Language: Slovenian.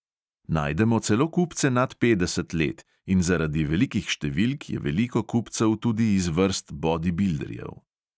Najdemo celo kupce nad petdeset let in zaradi velikih številk je veliko kupcev tudi iz vrst bodibilderjev.